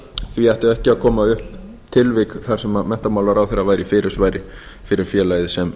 því ættu ekki að koma upp tilvik þar sem menntamálaráðherra væri í fyrirsvari fyrir félagið sem